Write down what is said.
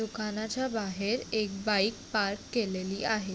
दुकानाच्या बाहेर एक बाइक पार्क केलेली आहे.